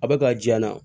A bɛ ka jiyan na